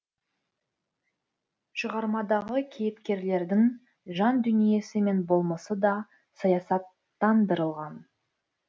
шығармадағы кейіпкерлердің жандүниесі мен болмысы да саясаттандырылған